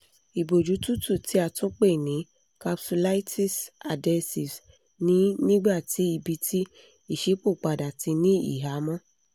iboju tutu ti a tun pe ni capsulitis adhesives ni nigbati ibiti iṣipopada ti ni ihamọ